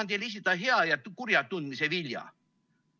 Ma tahan teile esitada hea ja kurja tundmise vilja.